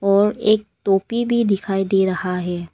और एक टोपी भी दिखाई दे रहा है।